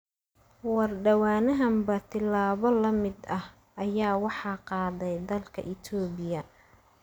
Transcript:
War dhawaanahanba tilaabo la mid ah ayaa waxaa qaaday dalka Itoobiya.